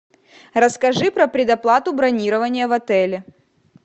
расскажи про предоплату бронирования в отеле